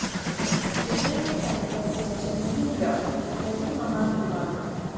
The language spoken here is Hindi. बिल्डर ने टाइम पर पजेशन नहीं दिया तो प्रतिमाह जुर्माना